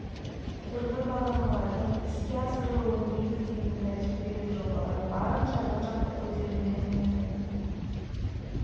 түрлі баламалардың іске асырылуын негіздейтін тәжірибелік жобалар барынша жан-жақты көтермеленеді